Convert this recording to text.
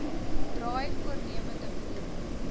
draai voornemende boere